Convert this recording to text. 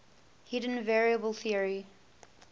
hidden variable theory